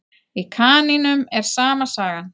Í kanínum er sama sagan.